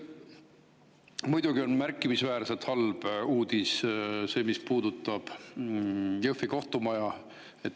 Muidugi on märkimisväärselt halb uudis see, mis puudutab Jõhvi kohtumaja.